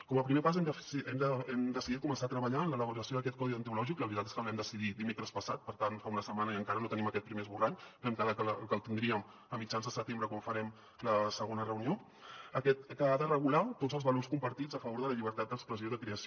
com a primer pas hem decidit començar a treballar en l’elaboració d’aquest codi deontològic la veritat és que el vam decidir dimecres passat per tant fa una setmana i encara no en tenim aquest primer esborrany vam quedar que el tindríem a mitjans de setembre quan farem la segona reunió que ha de regular tots els valors compartits a favor de la llibertat d’expressió i de creació